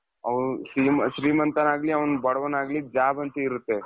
ಅವನು ಶ್ರೀಮಂತ ಆಗ್ಲಿ ಅವನು ಬಡವನಾಗ್ಲಿ job ಅಂತ ಇರುತ್ತೆ.